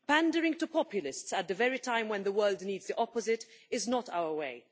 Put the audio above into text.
Pandering to populists at the very time when the world needs the opposite is not our way.